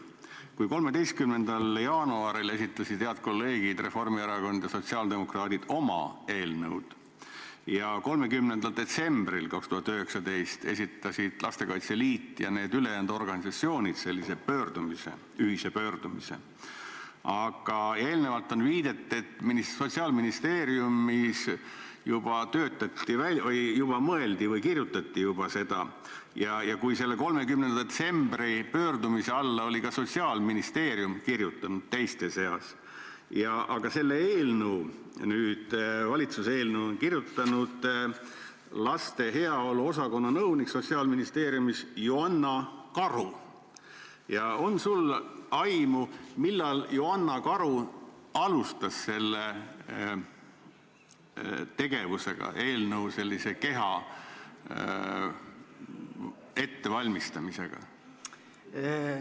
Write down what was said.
Kui 13. jaanuaril esitasid head kolleegid Reformierakond ja sotsiaaldemokraadid oma eelnõud ja 30. detsembril 2019 esitasid Lastekaitse Liit ja need ülejäänud organisatsioonid sellise ühise pöördumise, aga eelnevalt on viidatud, et Sotsiaalministeeriumis juba kirjutati seda eelnõu, ja kui sellele 30. detsembri pöördumisele oli ka Sotsiaalministeerium kirjutanud teiste seas alla, aga selle eelnõu, valitsuse eelnõu on kirjutanud Sotsiaalministeeriumi laste heaolu osakonna nõunik Joanna Karu, siis on sul aimu, millal Joanna Karu alustas selle tegevusega, eelnõu n-ö keha ettevalmistamisega?